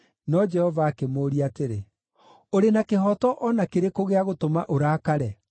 No Jehova akĩmũũria atĩrĩ, “Ũrĩ na kĩhooto o na kĩrĩkũ gĩa gũtũma ũrakare?”